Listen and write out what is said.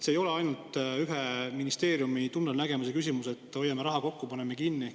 See ei ole ainult ühe ministeeriumi tunnelnägemuse küsimus, et hoiame raha kokku, paneme kinni.